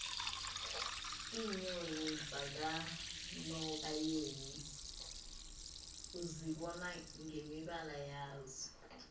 iinyoni zakanobayeni uzibona ngemibala yazo